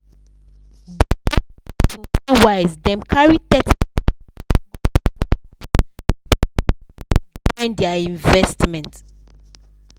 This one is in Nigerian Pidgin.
di johnson people wise dem carry thirty percent go put for house biz join their investment.